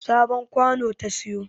Sabon kwano ta siyo